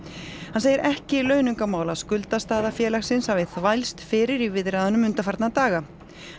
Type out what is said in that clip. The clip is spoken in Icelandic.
hann segir ekki launungarmál að skuldastaða félagsins hafi þvælst fyrir í viðræðunum undanfarna daga